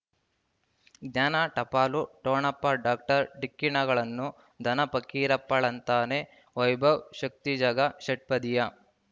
ಜ್ಞಾನ ಟಪಾಲು ಠೊಣಪ ಡಾಕ್ಟರ್ ಢಿಕ್ಕಿ ಣಗಳನು ಧನ ಫಕೀರಪ್ಪ ಳಂತಾನೆ ವೈಭವ್ ಶಕ್ತಿ ಝಗಾ ಷಟ್ಪದಿಯ